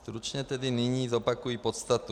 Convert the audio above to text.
Stručně tedy nyní zopakuji podstatu.